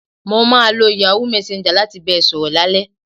Mo máa lo Yahoo messenger láti bá ẹ sọ̀rọ̀ lálẹ́